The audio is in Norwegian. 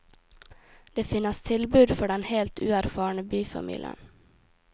Det finnes tilbud for den helt uerfarne byfamilien.